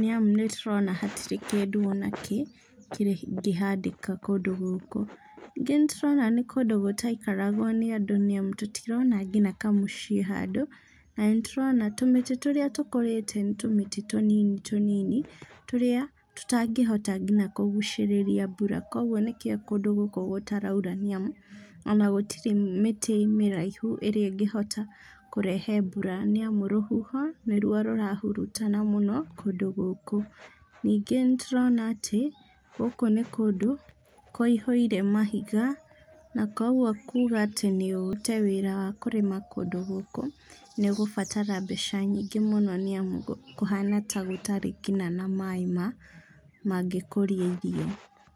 nĩamu nĩtũrona hatirĩ kĩndũ ona kĩ kĩngĩhandĩka kũndũ gũkũ. Ningĩ nĩtũrona nĩ kũndũ gũtaikaragwo nĩ andũ nĩamu tũtirona kinya kamũciĩ handũ, na nĩtũrona tũmĩtĩ tũrĩa tũkũrĩte nĩ tũmĩtĩ tũnini tũnini, tũrĩa tũtangĩhota nginya kũgucĩrĩria mbura, kuoguo nĩkĩo kũndũ gũkũ gũtaraura nĩamu ona gũtirĩ mĩtĩ mĩraihu ĩrĩa ĩngĩota kũrehe mbura, nĩamu rũhuho nĩruo rũrahurutana mũno kũndũ gũkũ. Ningĩ nĩtũrona atĩ, gũkũ nĩ kũndũ kũihũire mahiga na koguo kuga atĩ nĩ ũrute wĩra wa kũrĩma kũndũ gũkũ, nĩũgũbatara mbeca nyingĩ mũno nĩamu kũhana ta gũtarĩ kinya na maĩ ma, mangĩkũria irio.